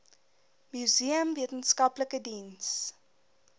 museum wetenskaplike diens